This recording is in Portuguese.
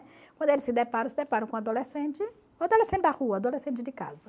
Quando eles se deparam, se deparam com um adolescente, um adolescente da rua, um adolescente de casa.